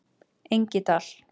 Engidal